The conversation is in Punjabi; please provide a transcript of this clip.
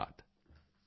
ਡੀਐੱਸਐੱਸਐੱਚਵੀਕੇ